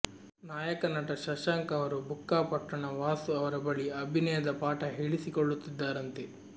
ನಾಯಕ ನಟ ಶಶಾಂಕ್ ಅವರು ಬುಕ್ಕಾಪಟ್ಟಣ ವಾಸು ಅವರ ಬಳಿ ಅಭಿನಯದ ಪಾಠ ಹೇಳಿಸಿಕೊಳ್ಳುತ್ತಿದ್ದಾರಂತೆ